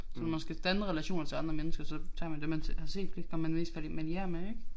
Så når man skal danne relationer til andre mennesker så tager man dem man har set flest gange man er mest familiære med